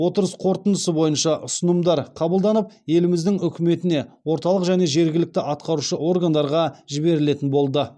отырыс қорытындысы бойынша ұсынымдар қабылданып еліміздің үкіметіне орталық және жергілікті атқарушы органдарға жіберілетін болды